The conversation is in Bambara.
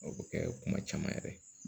O bɛ kɛ kuma caman yɛrɛ ye